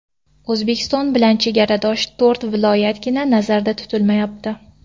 O‘zbekiston bilan chegaradosh to‘rt viloyatgina nazarda tutilmayapti.